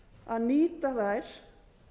að nýta þær